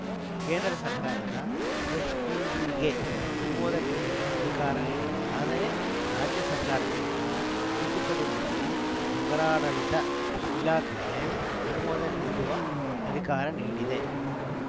ಕೇಂದ್ರ ಸರ್ಕಾರ ಎಸ್‌ಪಿವಿಗೆ ಅನುಮೋದನೆ ನೀಡುವ ಅಧಿಕಾರ ನೀಡಿದೆ ಆದರೆ ರಾಜ್ಯ ಸರ್ಕಾರ ಮಾತ್ರ ತಿದ್ದುಪಡಿ ಮಾಡಿ ನಗರಾಡಳಿತ ಇಲಾಖೆಗೆ ಅನುಮೋದನೆ ನೀಡುವ ಅಧಿಕಾರ ನೀಡಿದೆ